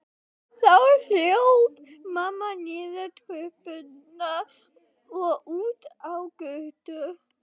Þá hljóp mamma niður tröppurnar og út á götu.